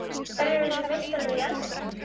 Hverjir urðu meistarar í Argentínu?